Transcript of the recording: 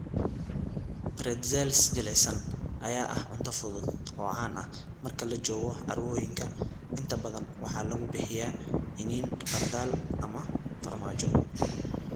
Pretzels jilicsan ayaa ah cunto fudud oo caan ah marka la joogo carwooyinka, inta badan waxaa lagu bixiyaa iniin khardal ama farmaajo.